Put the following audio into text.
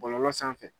Bɔlɔlɔ sanfɛ